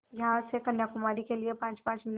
यहाँ से कन्याकुमारी के लिए पाँचपाँच मिनट